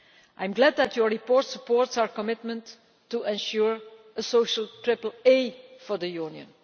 I am glad that your report supports our commitment to ensuring a social triple A for the Union.